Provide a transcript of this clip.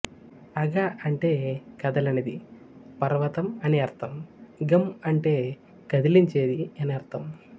అగ అంటే కదలనిది పర్వతం అని అర్ధం గం అంటే కదిలించేది అని అర్ధం